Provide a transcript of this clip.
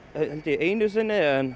einu sinni en